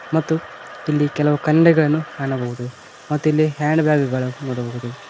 ಮತ್ತು ಇಲ್ಲಿ ಕೆಲವು ಖಂಡಗಳನ್ನು ಕಾಣಬಹುದು ಮತ್ತು ಇಲ್ಲಿ ಹ್ಯಾಂಡ್ ಬ್ಯಾಗಗಳು ನೋಡಬಹುದು.